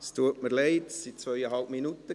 Es tut mir leid, es waren zweieinhalb Minuten.